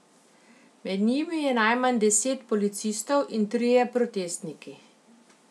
Med njimi je najmanj deset policistov in trije protestniki.